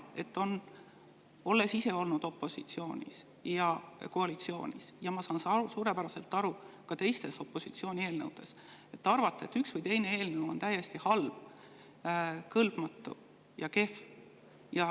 Olles olnud opositsioonis ja koalitsioonis, saan ma suurepäraselt aru opositsiooni, et üks või teine eelnõu on täiesti halb, kõlbmatu ja kehv.